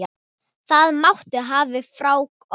Það máttu hafa frá okkur.